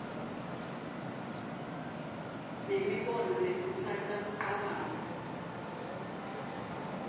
nemibono lekhutsata kucabanga